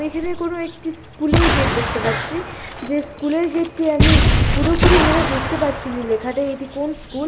এখানে কোন একটি স্কুল -এর গেট দেখতে পাচ্ছি । যে স্কুল -এর গেট -টি আমি পুরোপুরি ভাবে বুঝতে পারছিনা। লেখাটা এটি কোন স্কুল ।